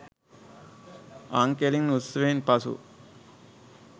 අං කෙළි උත්සවයෙන් පසු